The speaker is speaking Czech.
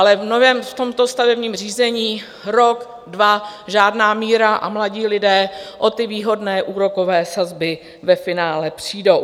Ale v tomto stavebním řízení rok, dva žádná míra a mladí lidé o ty výhodné úrokové sazby ve finále přijdou.